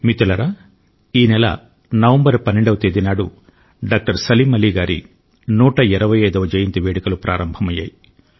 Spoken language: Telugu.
మిత్రులారా ఈ నెల నవంబరు 12 వ తేదీనాడు డాక్టర్ సలీం అలీ గారి 125 వ జయంతి వేడుకలు ప్రారంభమయ్యాయి